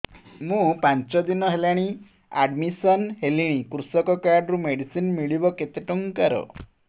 ମୁ ପାଞ୍ଚ ଦିନ ହେଲାଣି ଆଡ୍ମିଶନ ହେଲିଣି କୃଷକ କାର୍ଡ ରୁ ମେଡିସିନ ମିଳିବ କେତେ ଟଙ୍କାର